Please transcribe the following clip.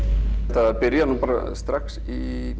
það byrjaði strax í